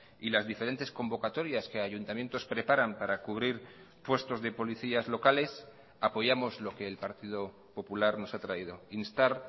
y las diferentes convocatorias que ayuntamientos preparan para cubrir puestos de policías locales apoyamos lo que el partido popular nos ha traído instar